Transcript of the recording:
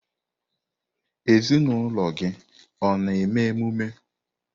Ezinụlọ gị ọ na-eme emume?